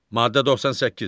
Maddə 98.